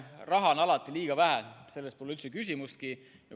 Raha on alati liiga vähe, selles pole üldse küsimustki.